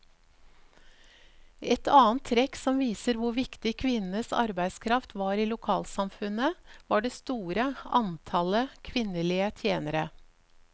Et annet trekk som viser hvor viktig kvinnenes arbeidskraft var i lokalsamfunnet, var det store antallet kvinnelige tjenere.